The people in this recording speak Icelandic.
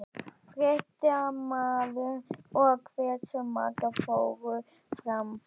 Fréttamaður: Og hversu margar fóru fram?